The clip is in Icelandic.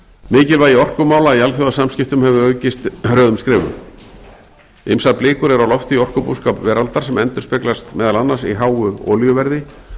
mikilvægi orkumála í alþjóðasamskiptum hefur aukist hröðum skrefum ýmsar blikur eru á lofti í orkubúskap veraldar sem endurspeglast meðal annars í háu olíuverði